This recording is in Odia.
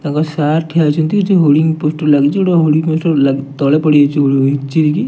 ତାଙ୍କ ସାର୍ ଠିଆ ହେଇଚନ୍ତି ଏଠି ହୋଡ଼ିଂ ପୋଷ୍ଟର୍ ଲାଗିଚି ଗୋଟିଏ ପୋଷ୍ଟର୍ ଲା ତଳେ ପଡ଼ିଯାଇଚି ଉଇ ଚିରିକି।